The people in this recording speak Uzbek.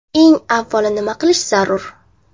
Eng avvalo nima qilish zarur?